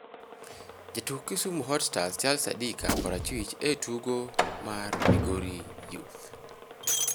Jatuk Kisumu Hot Stars Charles Adika (korachwich) e tugo mar Migori Youth.